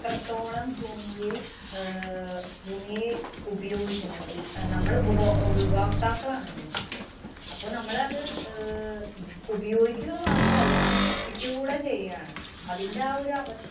അത്രത്തോളം ഭൂമിയെ ആഹ് ഭൂമിയെ ഉപയോഗിക്കുന്നത്. ഈ അഹ് നമ്മള് ഉപഭോ~ ഉപഭോക്താക്കളാണ് ഭൂമിയുടെ. അപ്പൊ നമ്മള് അത് അഹ് ഉപ്~ ഉപയോഗിക്കുക മാത്രല്ല നശിപ്പിക്കുക കൂടെ ചെയ്യാണ്, അതിന്‍റെ ആ ഒരവസ്ഥ